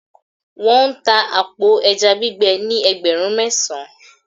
wan ta apo eja gbigbe ni ẹgbẹrun mesan